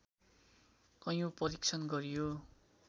कैयौँ परीक्षण गरियो